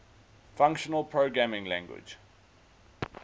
functional programming language